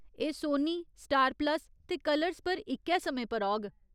एह् Sony, Star Plus ते Colors पर इक्कै समें पर औग।